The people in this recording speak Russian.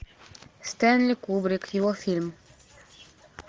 стэнли кубрик его фильм